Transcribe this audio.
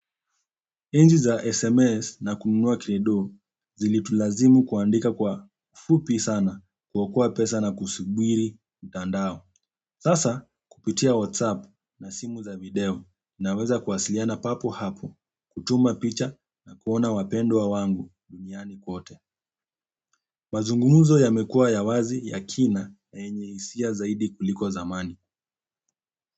Enzi za SMS na kununua kredo zilitulazimu kuandika kwa fupi sana kuokoa pesa na kusubiri mtandao. Sasa kupitia WhatsApp na simu za video naweza kuwasiliana papo hapo kutuma picha na kuona wapendwa wangu duniani kote. Mazungumuzo yamekuwa ya wazi ya kina yenye hisia zaidi kuliko zamani.